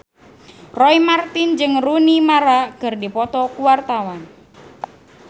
Roy Marten jeung Rooney Mara keur dipoto ku wartawan